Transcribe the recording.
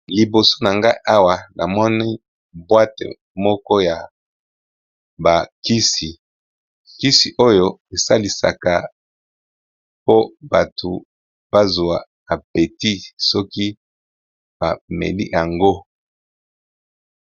Liboso na ngai awa namoni boîte moko ya kisi esalisaka batu bazuwa appétit soki bameli yango